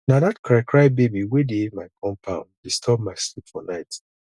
na dat crycry baby wey dey my compound disturb my sleep for night